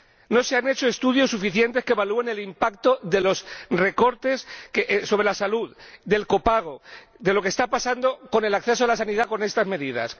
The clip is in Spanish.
No se han hecho estudios suficientes que evalúen el impacto de los recortes sobre la salud, del copago, de lo que está pasando con el acceso a la sanidad con estas medidas.